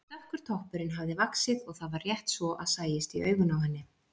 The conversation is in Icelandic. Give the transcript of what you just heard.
Dökkur toppurinn hafði vaxið og það var rétt svo að sæist í augun á henni.